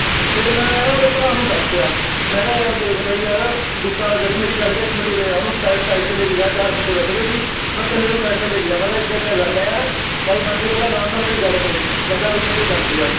ਫੇਰ ਮੈਂ ਨਾ ਓਹਦੇ ਭਰਾ ਨੂੰ ਦਸ ਤੇਯਾ ਮੈਂ ਕਿਹਾ ਯਾਰ ਦੇਖ ਭਾਈ ਯਾਰ ਗੁੱਸਾ ਨਾ ਕਰੀ ਮੇਰੀ ਗੱਲ ਕਿਹਾ ਇਕ Minute ਉਰੇ ਆ ਓਹਨੂੰ ਤੇ ਲੈ ਕੇ ਗਿਆ ਚਾਰ ਬੰਦੇ ਬੈਠੇ ਸੀ ਅਸੀਂ ਮੈਂ ਕਲੇ Side ਨੂੰ ਤੇ ਲੈ ਕੇ ਗਿਆ ਮੈਂ ਕਿਹਾ ਇਦਾ ਇਦਾ ਗੱਲ ਆ ਯਾਰ ਭਾਈ ਬਣ ਕੇ ਪਹਿਲਾ ਅਰਾਮ ਨਾਲ ਮੇਰੀ ਗੱਲ ਸੁਣੀ ਕਹਿੰਦਾ ਬਾਈ ਸੰਜੇ ਸੁਨ ਯਾਰ